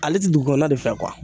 Ale tɛ dugukɔnɔna de fɛ